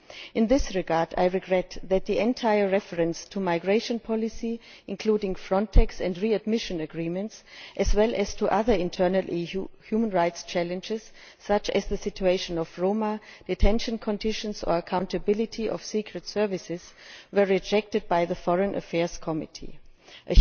In this regard I regret that the entire reference to migration policy, including Frontex and readmission agreements, as well as to other internal EU human rights challenges, such as the situation of the Roma, detention conditions, and the accountability of secret services, were rejected by the Committee on Foreign Affairs.